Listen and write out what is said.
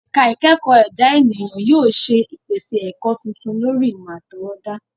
Ẹ̀ka ìkẹ́kọ̀ọ́ ẹ̀dá ènìyàn yóò ṣe ìpèsè ẹ̀kọ́ tuntun lórí ìmọ̀ àtọwọ́dá.